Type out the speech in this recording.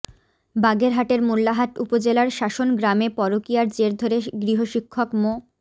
বাগেরহাটের মোল্লাহাট উপজেলার শাসন গ্রামে পরকিয়ার জের ধরে গৃহশিক্ষক মো